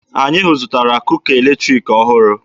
Anyị zụtara kuka eletriki ọhụrụ.